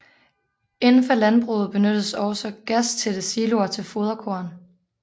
Indenfor landbruget benyttes også gastætte siloer til foderkorn